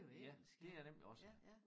Ja det er nemlig også